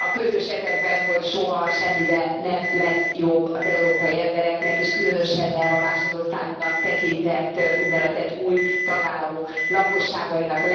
A közös ezekben, hogy soha, semmivel nem lesz jobb az európai embereknek, és különösen nem a másodosztályúnak tekintett, úgynevezett új tagállamok lakosságainak.